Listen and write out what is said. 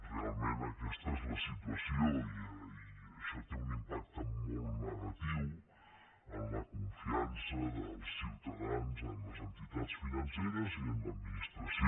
realment aquesta és la situació i això té un impacte molt negatiu en la confiança dels ciutadans en les entitats financeres i en l’administració